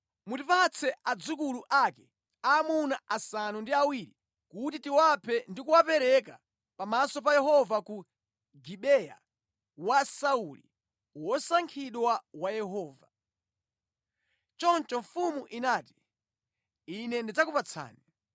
mutipatse adzukulu ake aamuna asanu ndi awiri kuti tiwaphe ndi kuwapereka pamaso pa Yehova ku Gibeya wa Sauli, wosankhidwa wa Yehova.” Choncho mfumu inati, “Ine ndidzakupatsani.”